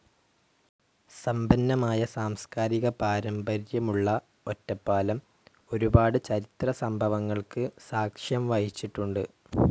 സമ്പന്നമായ സാംസ്കാരിക പാരമ്പര്യമുള്ള ഒറ്റപ്പാലം ഒരുപാട് ചരിത്ര സംഭവങ്ങൾക്ക് സാക്ഷ്യം വഹിച്ചിട്ടുണ്ട്.